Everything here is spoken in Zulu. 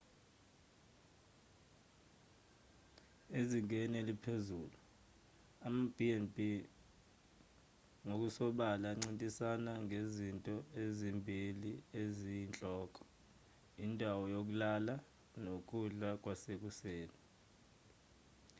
ezingeni eliphezulu amab&b ngokusobala ancintisana ngezinto ezimbili eziyinhloko: indawo yokulala nokudla kwasekuseni